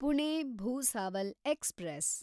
Pune Bhusawal express